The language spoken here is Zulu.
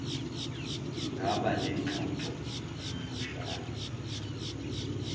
ngaba nengxoxo emfushne